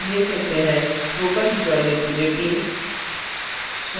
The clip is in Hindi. spoken tutorial project team